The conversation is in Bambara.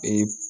Ee